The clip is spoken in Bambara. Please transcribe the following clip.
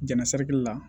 Jɛnna sari la